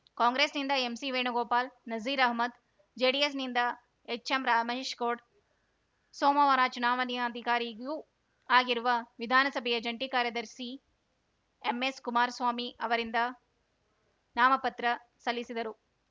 ಕಾಂಗ್ರೆಸ್‌ನಿಂದ ಎಂಸಿವೇಣುಗೋಪಾಲ್‌ ನಜೀರ್‌ ಅಹ್ಮದ್‌ ಜೆಡಿಎಸ್‌ನಿಂದ ಎಚ್‌ಎಂರಮೇಶ್‌ಗೌಡ್ ಸೋಮವಾರ ಚುನಾವಣಾಧಿಕಾರಿಯೂ ಆಗಿರುವ ವಿಧಾನಸಭೆಯ ಜಂಟಿ ಕಾರ್ಯದರ್ಸಿ ಎಂಎಸ್‌ಕುಮಾರಸ್ವಾಮಿ ಅವರಿಂದ ನಾಮಪತ್ರ ಸಲ್ಲಿದರು